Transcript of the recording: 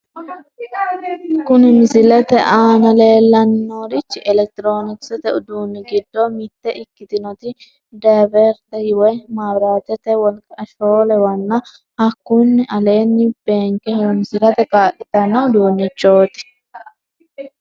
Kuni misilete aana leellanni noorichi elekitiroonikisete uduunni giddo mitte ikkitinoti dividerete woyi, maabiraatete wolqa shoolewanna hakkunni aleenni benke horonsirate kaa'litanno uduunnichooti.